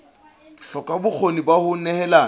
hloka bokgoni ba ho nehelana